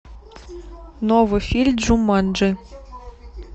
новый фильм джуманджи